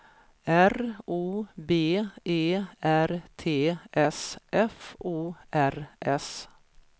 R O B E R T S F O R S